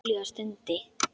Júlía stundi.